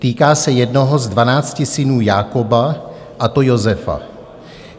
Týká se jednoho z dvanácti synů Jákoba, a to Josefa.